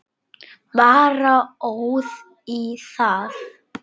Bara óð í það.